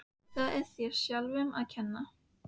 Það er þér sjálfum að kenna.